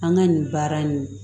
An ka nin baara in